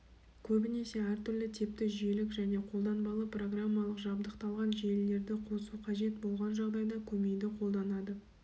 көбінесе әртүрлі типті жүйелік және қолданбалы программалық жабдықталған желілерді қосу қажет болған жағдайда көмейді қолданады